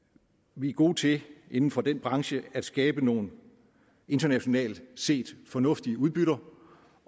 vi er gode til inden for den branche at skabe nogle internationalt set fornuftige udbytter